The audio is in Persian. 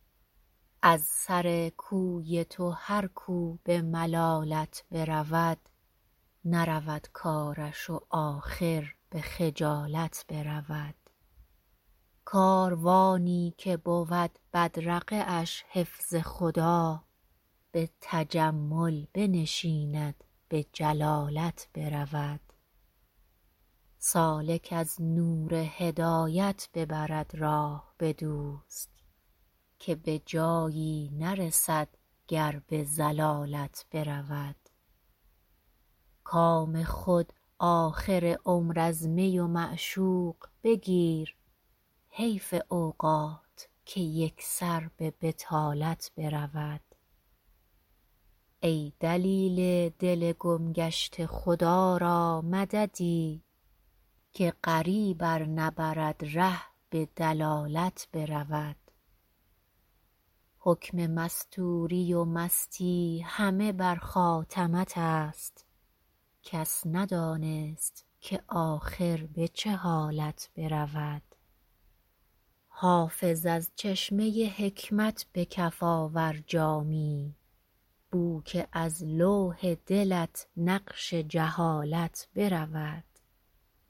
از سر کوی تو هر کو به ملالت برود نرود کارش و آخر به خجالت برود کاروانی که بود بدرقه اش حفظ خدا به تجمل بنشیند به جلالت برود سالک از نور هدایت ببرد راه به دوست که به جایی نرسد گر به ضلالت برود کام خود آخر عمر از می و معشوق بگیر حیف اوقات که یک سر به بطالت برود ای دلیل دل گم گشته خدا را مددی که غریب ار نبرد ره به دلالت برود حکم مستوری و مستی همه بر خاتمت است کس ندانست که آخر به چه حالت برود حافظ از چشمه حکمت به کف آور جامی بو که از لوح دلت نقش جهالت برود